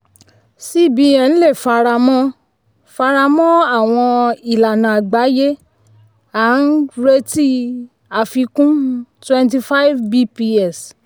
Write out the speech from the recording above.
cbn lè faramọ́ faramọ́ àwọn ìlànà àgbáyé a ń um retí um àfikún um twenty five bps.